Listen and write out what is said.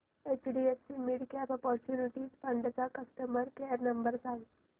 HDFC midcap opportunities fund चा customer care number सांग